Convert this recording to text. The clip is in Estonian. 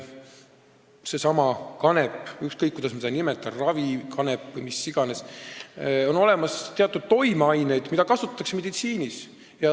Sellelsamal kanepil, ükskõik, kuidas me seda ei nimeta, ravikanepiks või kuidas iganes, on olemas teatud toimeained, mida kasutatakse meditsiinis.